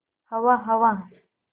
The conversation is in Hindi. हवा हवा